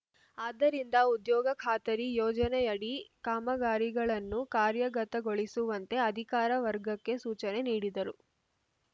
ಆದ್ದರಿಂದ ಉದ್ಯೋಗ ಖಾತರಿ ಯೋಜನೆಯಡಿ ಕಾಮಗಾರಿಗಳನ್ನು ಕಾರ್ಯಗತಗೊಳಿಸುವಂತೆ ಅಧಿಕಾರಿ ವರ್ಗಕ್ಕೆ ಸೂಚನೆ ನೀಡಿದರು